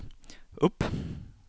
upp